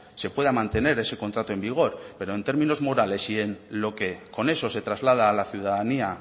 se pueda mantener ese contrato en vigor pero en términos morales y en lo que con eso se traslada a la ciudadanía